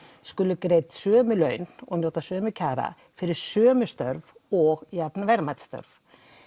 skuli greidd sömu laun og njóta sömu kjara fyrir sömu störf og jafn verðmæt störf